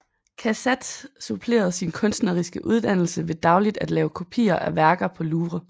Cassatt supplerede sin kunstneriske uddannelse ved dagligt at lave kopier af værker på Louvre